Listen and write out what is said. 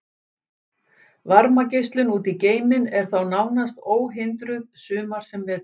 Varmageislun út í geiminn er þá nánast óhindruð sumar sem vetur.